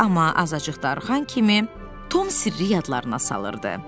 Amma azacıq darıxan kimi Tom sirri yadlarına salırdı.